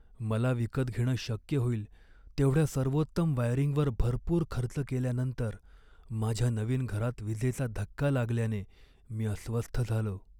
मला विकत घेणं शक्य होईल तेवढ्या सर्वोत्तम वायरिंगवर भरपूर खर्च केल्यानंतर माझ्या नवीन घरात विजेचा धक्का लागल्याने मी अस्वस्थ झालो.